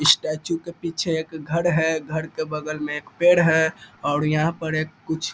statue के पीछे एक घर है घर के बगल में एक पेड़ है और यहाँ पर कुछ --